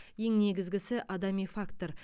ең негізгісі адами фактор